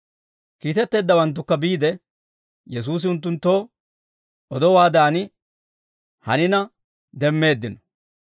Kiitetteeddawanttukka biide, Yesuusi unttunttoo odowaadan hanina demmeeddino.